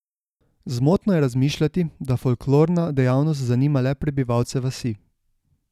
Zmotno je razmišljati, da folklorna dejavnost zanima le prebivalce vasi.